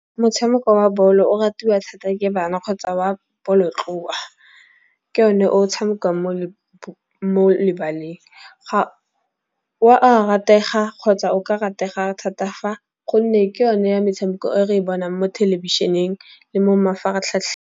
Motshameko wa ball-o o ratiwa thata ke bana kgotsa wa bolotloa. Ke one o tshamekiwang mo lebaleng. O a ratega kgotsa o ka ratega thata fa gonne ke yone ya metshameko e re bonang mo thelebišeneng le mo mafaratlhatlheng.